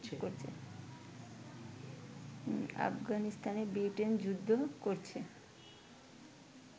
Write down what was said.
আফগানিস্তানে ব্রিটেন যুদ্ধ করছে